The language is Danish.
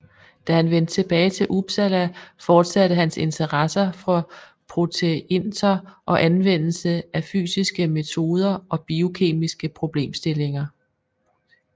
Da han vendte tilbage til Uppsala fortsatte hans interesse for proteinter og anvendelsen af fysiske metoder og biokemiske problemstillinger